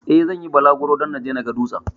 Eh, zan yi bulaguro don naje na ga dutsen.